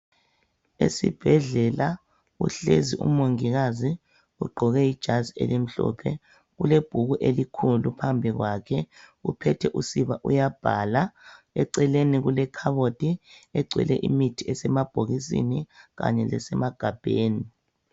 Esibhedlela uhlezi umongikazi ugqoke ijazi elimhlophe ulebhuku elikhulu phambi kwakhe uphethe usiba uyabhala eceleni kulekhabothi egcwele imithi esemabhokisini kanye lesemagabheni.